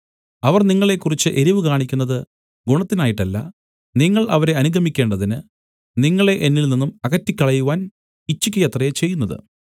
അവർ നിങ്ങളെക്കുറിച്ച് എരിവ് കാണിക്കുന്നത് ഗുണത്തിനായിട്ടല്ല നിങ്ങൾ അവരെ അനുഗമിക്കേണ്ടതിന് നിങ്ങളെ എന്നിൽ നിന്നും അകറ്റിക്കളയുവാൻ ഇച്ഛിക്കയത്രെ ചെയ്യുന്നത്